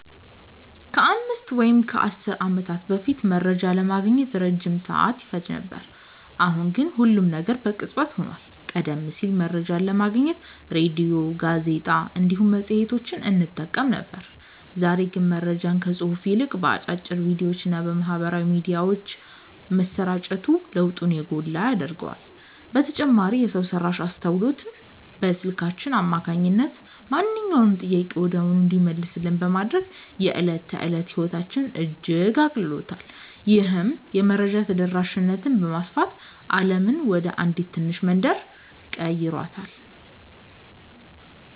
ከአምስት ወይም ከአሥር ዓመታት በፊት መረጃ ለማግኘት ረጅም ሰዓት ይፈጅ ነበር፤ አሁን ግን ሁሉም ነገር በቅጽበት ሆኗል። ቀደም ሲል መረጃን ለማግኘት ሬድዮ፣ ጋዜጣ እንዲሁም መጽሔቶችን እንጠቀም ነበር፤ ዛሬ ግን መረጃ ከጽሑፍ ይልቅ በአጫጭር ቪዲዮዎችና በማኅበራዊ ሚዲያዎች መሰራጨቱ ለውጡን የጎላ ያደርገዋል። በተጨማሪም የሰው ሠራሽ አስተውሎት በስልካችን አማካኝነት ማንኛውንም ጥያቄ ወዲያውኑ እንዲመለስልን በማድረግ የዕለት ተዕለት ሕይወታችንን እጅግ አቅልሎታል። ይህም የመረጃ ተደራሽነትን በማስፋት ዓለምን ወደ አንዲት ትንሽ መንደር ቀይሯታል።"